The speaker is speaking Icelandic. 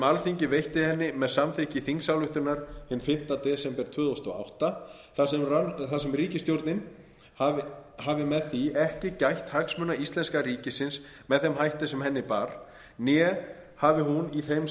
alþingi veitti henni með samþykkt þingsályktunar hinn fimmta desember tvö þúsund og átta þar sem ríkisstjórnin hafi með því ekki gætt hagsmuna íslenska ríkisins með þeim hætti sem henni bar né hafi hún í þeim